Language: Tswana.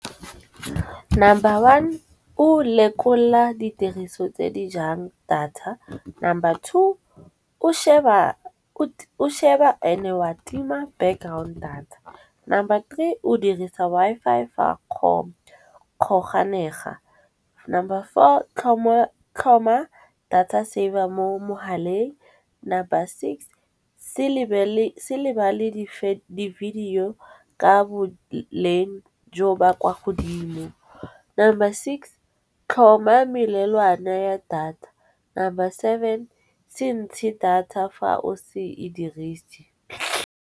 Number one ko lekolla ditiriso tse di jang data, number two ko sheba ene wa tima background data. Number three o dirisa Wi-Fi fa kgoganega. Number four tlhoma data saver mo mogaleng, number six se lebale di-video Ka bo Leng jo ba kwa godimo. Number six tlhoma melelwane ya data, number seven se ntshe data fa o se e dirise.